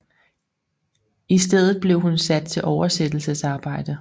I stedet blev hun sat til oversættelsesarbejde